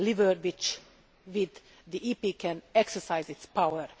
It is a lever with which the EP can exercise its power.